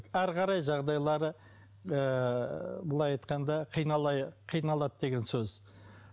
әрі қарай жағдайлары ыыы былай айтқанда қиналады деген сөз